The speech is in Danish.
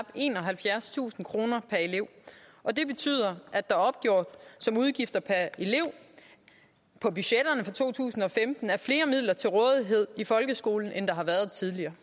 enoghalvfjerdstusind kroner per elev og det betyder at der opgjort som udgifter per elev på budgetterne for to tusind og femten er flere midler til rådighed i folkeskolen end der har været tidligere